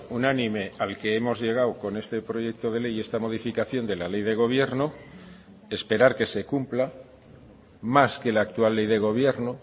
unánime al que hemos llegado con este proyecto de ley y esta modificación de la ley de gobierno esperar que se cumpla más que la actual ley de gobierno